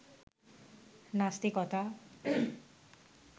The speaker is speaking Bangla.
নাস্তিকতা